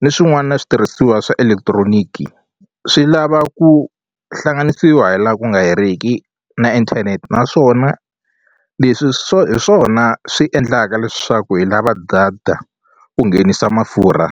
ni swin'wana switirhisiwa swa electronic swi lava ku hlanganisiwa hi la ku nga heriki na inthanete naswona leswi swo hi swona swi endlaka leswaku hi lava data ku nghenisa mafurha.